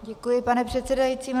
Děkuji, pane předsedající.